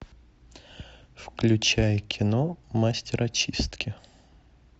включай кино мастер очистки